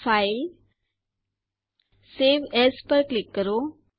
file save as પર click કરો